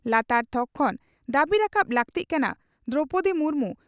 ᱞᱟᱛᱟᱨ ᱛᱷᱚᱠ ᱠᱷᱚᱱ ᱫᱟᱹᱵᱤ ᱨᱟᱠᱟᱵ ᱞᱟᱹᱠᱛᱤᱜ ᱠᱟᱱᱟ ᱺ ᱫᱨᱚᱣᱯᱚᱫᱤ ᱢᱩᱨᱢᱩ